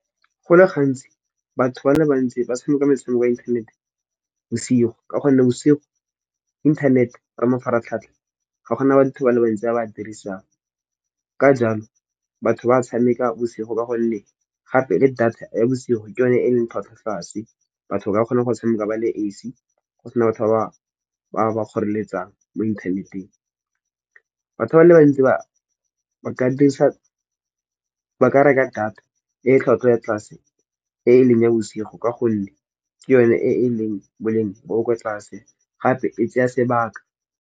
Go le gantsi batho ba le bantsi ba tshameka metshameko ya inthanete bosigo, ka gonne bosigo inthanete ka mafaratlhatlha ga gona batho ba le bantsi ba ba dirisang. Ka jalo, batho ba tshameka bosigo ka gonne gape le data ya bosigo ke yone e leng tlhwatlhwa tlase. Batho ba kgone go tshameka ba le esi, go sena batho ba ba kgoreletsang mo inthaneteng. Batho ba le bantsi ba ka reka data e tlhwatlhwa ya tlase e leng ya bosigo, ka gonne ke yone e e leng boleng bo bo kwa tlase gape e tseya sebaka.